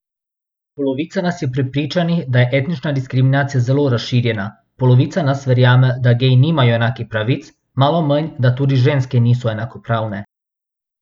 Polovica nas je prepričanih, da je etnična diskriminacija zelo razširjena, polovica nas verjame, da geji nimajo enakih pravic, malo manj, da tudi ženske niso enakopravne.